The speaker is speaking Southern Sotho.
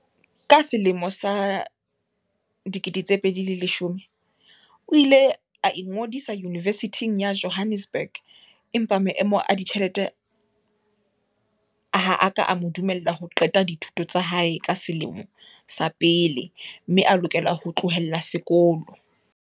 Ka selemo sa 2010, o ile a ingodisa Yunivesithing ya Jo hannesburg empa maemo a ditjhelete ha a ka a mo dumella ho qeta dithuto tsa hae tsa selemo sa pele mme a lokela ho tlohela sekolo.